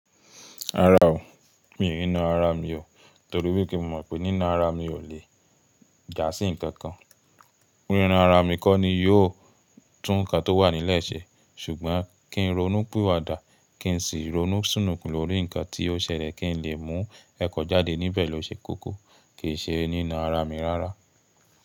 Rárá o, mi e na ara mi o torí wípé mo mọ̀ pé nína ara mi ò le jà sí ǹkan kan. Nína ara mi kọ́ ni yóò tún ǹkan tó wà nílẹ̀ ṣe ṣùgbọ́n kí n ronú pìwàdà, kí n sì ronú súnùn kún lórí ǹkan tí ó ṣẹlẹ̀ kí n lè mú ẹ̀kọ́ jáde níbẹ̀ lọ ṣe kókó ke í ṣe nína ara mi rárá.